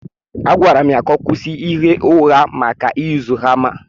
Agwara m ya ka ọ kwụsị ịgha ụgha gbasara ị yuzu hama.